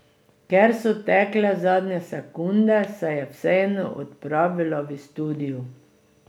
Ker so tekle zadnje sekunde, se je vseeno odpravila v studijo.